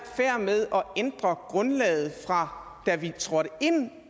med at ændre grundlaget fra da vi trådte ind